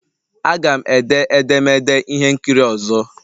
Aga m ede edemede ihe nkiri ọzọ